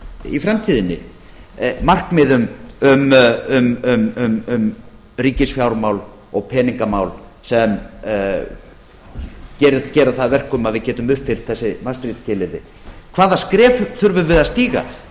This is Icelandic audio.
í framtíðinni markmiðum um ríkisfjármál og peningamál sem gera það að verkum að við getum uppfyllt þessi maastricht skilyrði hvaða skref þurfum við að stíga